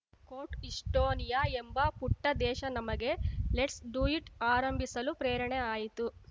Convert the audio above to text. coat Estonia ಎಂಬ ಪುಟ್ಟದೇಶ ನಮಗೆ ಲೆಟ್ಸ್‌ ಡು ಇಟ್‌ ಆರಂಭಿಸಲು ಪ್ರೇರಣೆ ಆಯಿತು